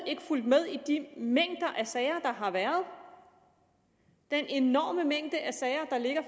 ikke fulgt med i de mængder af sager der har været den enorme mængde af sager der ligger